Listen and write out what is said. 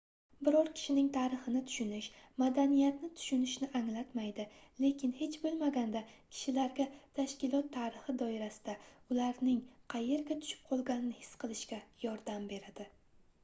biror kishining tarixini tushunish madaniyatni tushunishni anglatmaydi lekin hech boʻlmaganda kishilarga tashkilot tarixi doirasida ularning qayerga tushib qolganini his qilishga yordam beradi